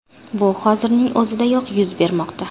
Bu hozirning o‘zidayoq yuz bermoqda.